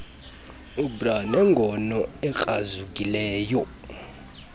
ubr nengono ekrazukileyo